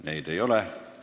Neid ei ole.